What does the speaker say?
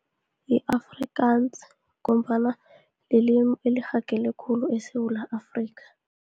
Yi-Afrikaans, ngombana lilimi elirhagele khulu eSewula Afrika.